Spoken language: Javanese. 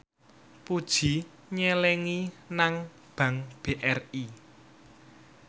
Puji nyelengi nang bank BRI